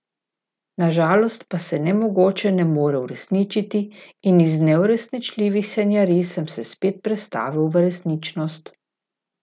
Na žalost pa se nemogoče ne more uresničiti, in iz neuresničljivih sanjarij sem se spet prestavil v resničnost.